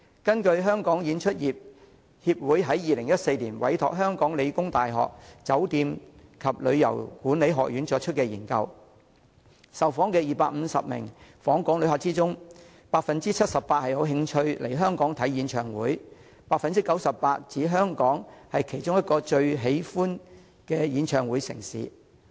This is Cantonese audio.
根據香港演出業協會在2014年委託香港理工大學酒店及旅遊業管理學院進行的研究，在受訪的250名訪港旅客中 ，78% 有興趣來港觀賞演唱會 ，89% 指香港是其中一個最喜歡的演唱會城市。